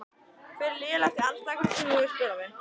Hver er lélegasti andstæðingurinn sem þú hefur spilað við?